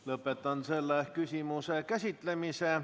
Lõpetan selle küsimuse käsitlemise.